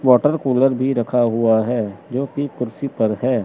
Water cooler भी रखा हुआ है जो कि कुर्सी पर है।